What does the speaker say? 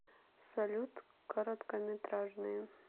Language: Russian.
салют короткометражные